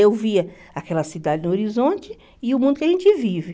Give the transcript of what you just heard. Eu via aquela cidade no horizonte e o mundo que a gente vive.